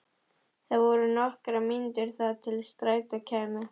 Það voru nokkrar mínútur þar til strætó kæmi.